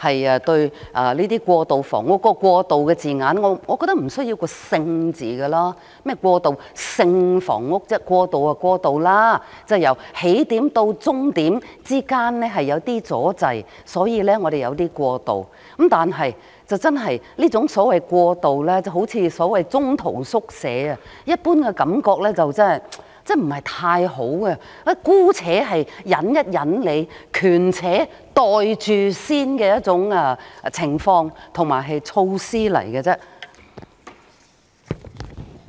我覺得"過渡"這個詞無需要加上"性"這個字，"過渡"便是"過渡"，，即由起點至終點之間有一點阻滯，因此需要一點"過渡"，但這種所謂"過渡"就等於"中途宿舍"，一般予人不太好的感覺，是姑且一忍、權且"袋住先"的一種情況和措施而已。